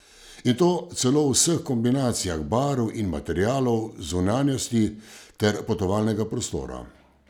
In to celo v vseh kombinacijah barv in materialov zunanjosti ter potovalnega prostora.